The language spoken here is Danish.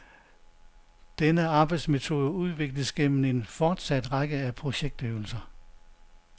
Denne arbejdsmetode udvikles gennem en fortsat række af projektøvelser.